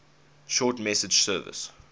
short message service